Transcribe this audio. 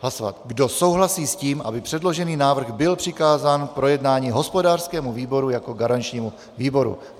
Kdo souhlasí s tím, aby předložený návrh byl přikázán k projednání hospodářskému výboru jako garančnímu výboru?